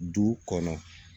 Du kɔnɔ